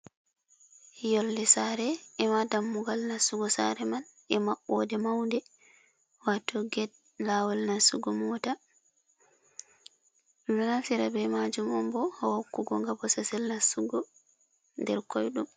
Yolnde sare, ema dammugal nastugo sareman,e maɓɓo de mawnde waato gate lawol nastugo mota. Ɗum ɗon naftira be majum on bo ha hokku go nga bososel nastugo nder koyɗum.